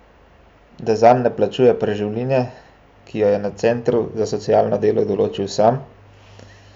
Da zanj ne plačuje preživnine, ki jo je na centru za socialno delo določil sam?